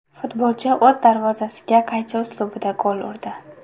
Futbolchi o‘z darvozasiga qaychi uslubida gol urdi.